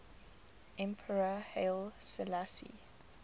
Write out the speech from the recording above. emperor haile selassie